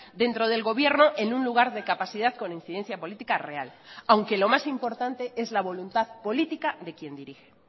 dentro del gobierno en un lugar de capacidad con incidencia política real aunque lo más importante es la voluntad política de quien dirige